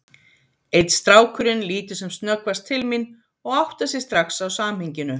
Einn strákurinn lítur sem snöggvast til mín og áttar sig strax á samhenginu.